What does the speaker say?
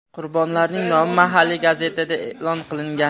Qurbonlarning nomi mahalliy gazetada e’lon qilingan.